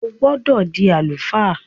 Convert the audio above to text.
O gbọdọ di àlùfáà!